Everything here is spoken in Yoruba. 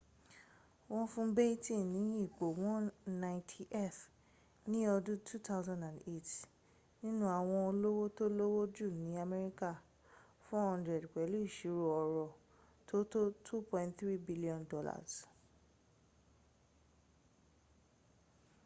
wọ́n fún batten ní ipò 190th ní ọdún 2008 nínu àwọn olówó tó lówó jù ní amẹ́ríkà 400 pẹ̀lú ìṣirò ọrọ̀ tó tó $2.3 billion